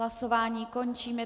Hlasování končím.